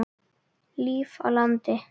Líf á landi.